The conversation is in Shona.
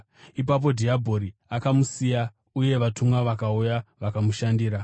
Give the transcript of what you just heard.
Ipapo dhiabhori akamusiya, uye vatumwa vakauya vakamushandira.